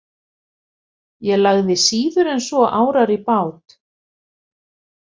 Ég lagði síður en svo árar í bát.